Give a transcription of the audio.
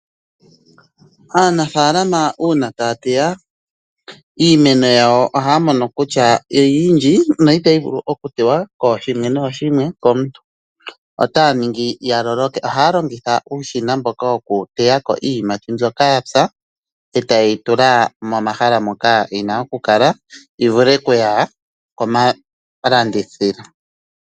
Aanafaalama uuna taya teya iimeno yawo ohaya mono kutya oyindji no itayi vulu okutewa kooshimwe nooshimwe komuntu otaya ningi ya loloke. Ohaya longitha uushina mboka wokuteya ko iiyimati mbyoka ya pya etaye yi tula momahala moka yi na okukala yi vule okuya gomalandithilo.